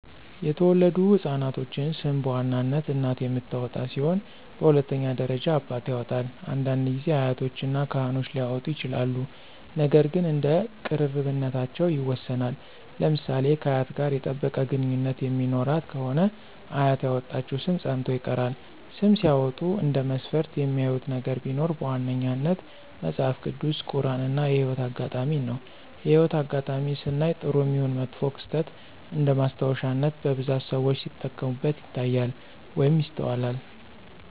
የተወለዱ ህፃናቶችን ሰም በዋናነት እናት የምታወጣ ሲሆን በሁለተኛ ደረጃ አባት ያወጣል፤ አንዳንድ ጊዜ አያቶች እና ካህኖች ሊያወጡ ይችላሉ ነገር ግን እንደ ቅርርብነታቸው ይወሰናል። ለምሳሌ ከአያት ጋር የጠበቀ ግንኙነት የሚኖራት ከሆነ አያት ያወጣችው ሰም ፀንቶ ይቀራል። ስም ሲያወጡ እንደ መስፈርት የሚያዩት ነገር ቢኖር በዋነኛነት መጸሐፍ ቅዱስ፣ ቁራን እና የህይወት አጋጣሜን ነው። የህይወት አጋጣሜን ስናይ ጥሩም ይሁን መጥፎ ክስተት እንደማስታወሻነት በብዛት ሰዎች ሲጠቀሙበት ይታያሉ ወይም ይስተዋላሉ።